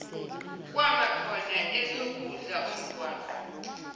kwamakhona esokudla omgwaqo